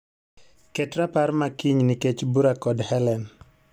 Ket rapar ma kiny nikech bura kod Hellen.